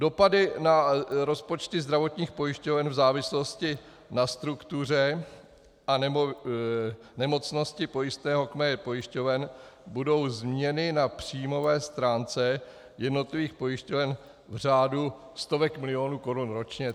Dopady na rozpočty zdravotních pojišťoven v závislosti na struktuře a nemocnosti pojistného kmene pojišťoven budou změny na příjmové stránce jednotlivých pojišťoven v řádu stovek milionů korun ročně.